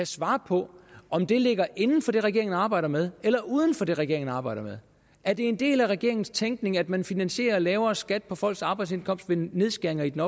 svar på om det ligger inden for det regeringen arbejder med eller uden for det regeringen arbejder med er det en del af regeringens tænkning at man finansierer lavere skat på folks arbejdsindkomst ved nedskæringer i den